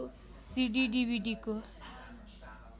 CD डिभिडीको